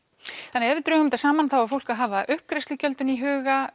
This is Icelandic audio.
þannig ef við drögum þetta saman þá á fólk að hafa uppgreiðslugjöldin í huga